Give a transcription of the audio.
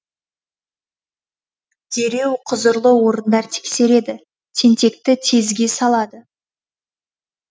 дереу құзырлы орындар тексереді тентекті тезге салады